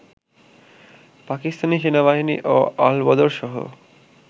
পাকিস্তানি সেনাবাহিনী ও আল-বদরসহ